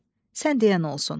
Sən deyən olsun.